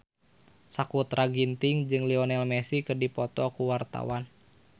Sakutra Ginting jeung Lionel Messi keur dipoto ku wartawan